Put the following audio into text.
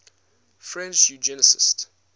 french eugenicists